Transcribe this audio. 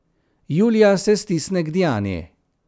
Julija se stisne k Diani.